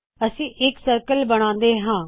ਅਸੀ ਇਕ ਸਰਕਲ ਬਣਾਉਣਾ ਹੈ